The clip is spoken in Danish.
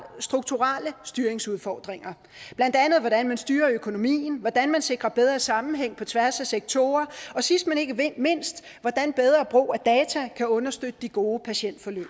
strukturelle styringsudfordringer blandt andet hvordan man styrer økonomien hvordan man sikrer bedre sammenhæng på tværs af sektorer og sidst men ikke mindst hvordan bedre brug af data kan understøtte de gode patientforløb